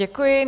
Děkuji.